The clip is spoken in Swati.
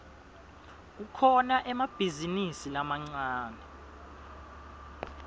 kukhona emabhizinisi lamancane